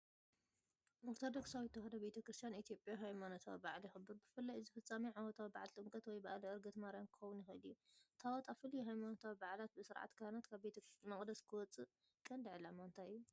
ኦርቶዶክሳዊት ተዋህዶ ቤተ ክርስቲያን ኢትዮጵያ ሃይማኖታዊ በዓል የኽብር። ብፍላይ እዚ ፍጻሜ ዓመታዊ በዓል ጥምቀት ወይ በዓለ ዕርገት ማርያም ክኸውን ይኽእል እዩ። ታቦት ኣብ ፍሉይ ሃይማኖታዊ በዓላት ብስርዓት ካህናት ካብ ቤተ መቕደስ ክወጽእ ቀንዲ ዕላማ እንታይ እዩ?